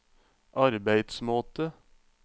arbeidsmåte